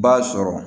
B'a sɔrɔ